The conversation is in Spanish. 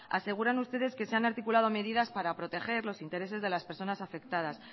aseguran ustedes que se han articulado medidas para proteger los intereses de las personas afectadas